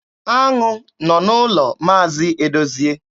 Aṅụ nọ n'ụlọ Maazi Edozie.